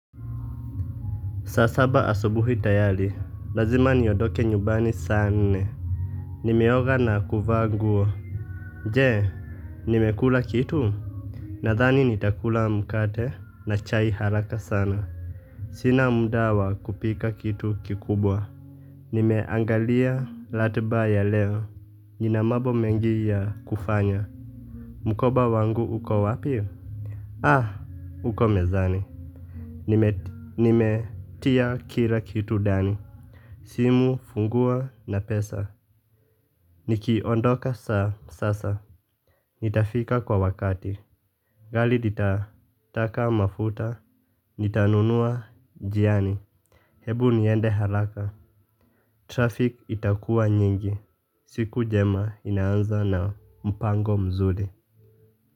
Saa saba asubuhi tayari, lazima niondoke nyumbani saa nne. Nimeoga na kuvaa nguo. Je, nimekula kitu? Nadhani nitakula mkate na chai haraka sana. Sina muda wa kupika kitu kikubwa. Nimeangalia ratiba ya leo, nina mambo mengi ya kufanya. Mkoba wangu uko wapi? Ah, uko mezani. Nimetia kila kitu ndani. Simu, funguo na pesa, nikiondoka saa sasa, nitafika kwa wakati, gari litataka mafuta, nitanunua njiani, hebu niende haraka, traffic itakua nyingi, siku jema inaanza na mpango mzuri.